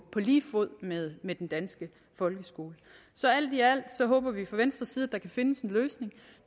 lige fod med med den danske folkeskole så alt i alt håber vi fra venstres side at der kan findes en løsning